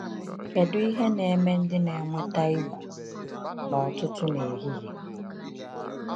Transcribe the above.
Kedu ihe na-eme ndị na-enweta ‘igbu n’ọtụtụ n’ehihie’?